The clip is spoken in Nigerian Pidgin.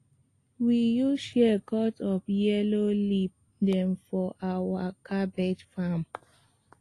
we use shears cut off yellow leaf dem for our cabbage farm